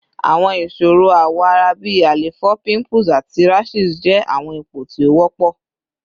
Awọn iṣoro awọ ara bi àléfọ, pimples, ati rashes jẹ awọn ipo ti o wọpọ